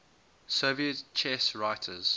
soviet chess writers